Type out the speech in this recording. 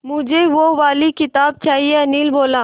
मुझे वो वाली किताब चाहिए अनिल बोला